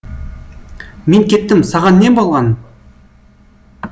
мен кеттім саған не болған